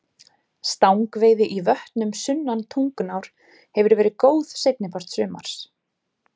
Stangveiði í vötnum sunnan Tungnár hefur verið góð seinni part sumars.